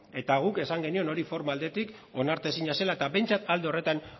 eta guk esan genion hori forma aldetik onartezina zela eta behintzat alde horretan